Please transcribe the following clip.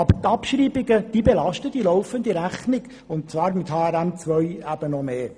Die Abschreibungen belasten aber die laufende Rechnung und zwar mit HRM2 noch mehr.